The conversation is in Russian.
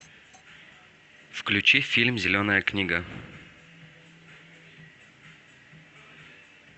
включи фильм зеленая книга